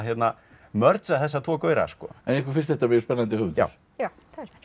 merge a þessa tvo gaura en ykkur finnst þetta mjög spennandi höfundur já já það